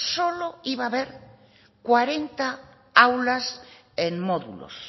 solo iba haber cuarenta aulas en módulos